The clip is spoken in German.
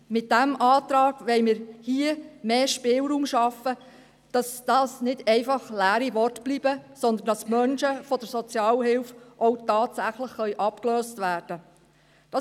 Mit diesem Antrag wollen wir hier mehr Spielraum schaffen, damit es nicht einfach leere Worte sind, sondern Menschen auch tatsächlich von der Sozialhilfe abgelöst werden können.